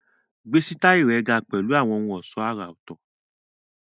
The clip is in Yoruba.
Gbé sítáìlì rẹ ga pẹ̀lú àwọn ohun ọ̀ṣọ́ àrà ọ̀tọ̀